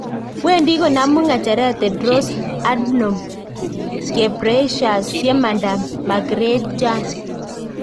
Wendi konamu ngecheret Tedros Adhanom Ghebreyesus yemanda Margaret Chan